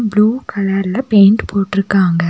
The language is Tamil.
ப்ளூ கலர்ல பெயின்ட் போற்றுக்காங்க.